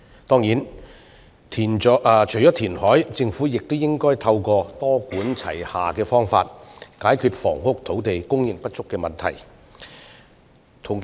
當然，除了填海外，政府亦應透過多管齊下的方式，解決房屋土地供應不足的問題。